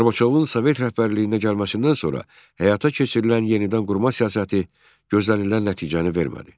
Qarbaçovun sovet rəhbərliyinə gəlməsindən sonra həyata keçirilən yenidənqurma siyasəti gözlənilən nəticəni vermədi.